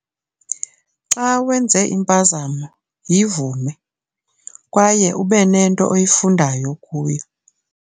Xa wenze impazamo, yivume kwaye ube nento oyifundayo kuyo.